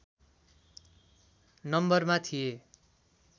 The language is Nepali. नम्बरमा थिए